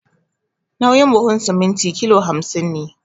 Nauyin buhun siminti kilo hamsin ne